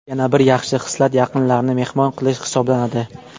Yana bir yaxshi xislat yaqinlarni mehmon qilish hisoblanadi.